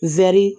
Wɛri